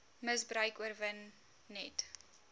misbruik oorwin net